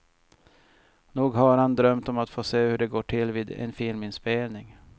Nog har han drömt om att få se hur det går till vid en filminspelning.